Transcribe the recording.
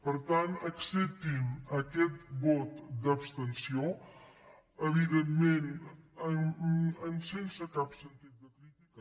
per tant acceptinme aquest vot d’abstenció evidentment sense cap sentit de crítica